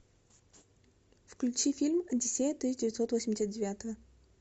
включи фильм одиссея тысяча девятьсот восемьдесят девятого